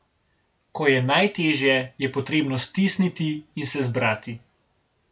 Ko je najtežje, je potrebno stisniti in se zbrati.